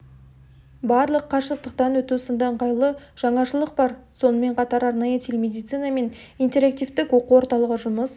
барлау қашықтанөту сынды ыңғайлы жаңашылық бар сонымен қатар арнайы телемедицина мен интерактивтік оқу орталығы жұмыс